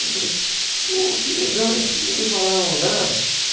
Eu falei, pô, que legal, vocês não me falaram nada.